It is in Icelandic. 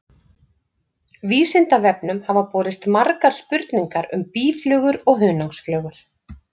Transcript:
Vísindavefnum hafa borist margar spurningar um býflugur og hunangsflugur.